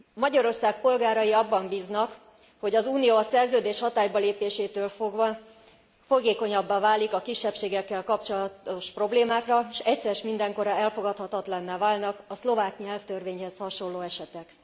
Magyarország polgárai abban bíznak, hogy az Unió a szerződés hatálybalépésétől fogva fogékonyabbá válik a kisebbségekkel kapcsolatos problémákra és egyszer s mindenkorra elfogadhatatlanná válnak a szlovák nyelvtörvényhez hasonló esetek.